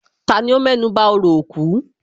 Tani ó mẹ́nuba orò òkú?